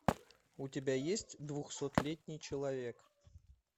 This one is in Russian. у тебя есть двухсотлетний человек